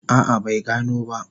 A'a bai gano ba.